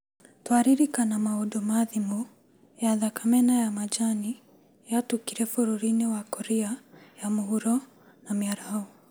Twaririkana maũndũ ma thimũ, ya thakame na ya majani'yatukire bũrũrĩnĩ wa Korea ya Muhuro na mĩaraho